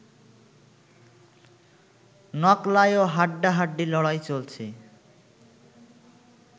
নকলায়ও হাড্ডাহাড্ডি লড়াই চলছে